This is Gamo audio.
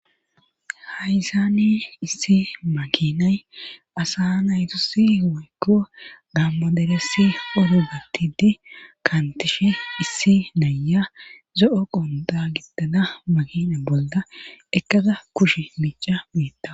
hayzani issi makinay asa naytusi woykko dammaderessi orogattidi kantishe issi naya zo7o qonda gitada makina bolda ekkada kushe miica mietta